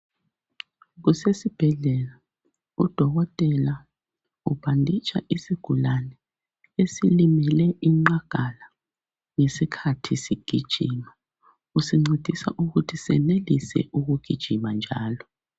Kusesibhedlela, udokotela ubhanditsha isigulane esilimele inqagala ngesikhathi sigijima. Usincedisa ukuthi senelise ukugijima njalo.